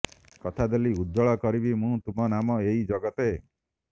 କଥା ଦେଲି ଉଜ୍ଜ୍ୱଳ କରିବି ମୁଁ ତୁମ ନାମ ଏଇ ଜଗତେ